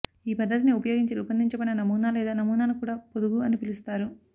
ఈ పద్ధతిని ఉపయోగించి రూపొందించబడిన నమూనా లేదా నమూనాను కూడా పొదుగు అని పిలుస్తారు